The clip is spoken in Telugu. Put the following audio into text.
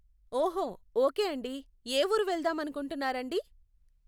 ఓహో, ఓకే అండి, ఏ ఊరు వెళ్దామనుకుంటున్నారండి?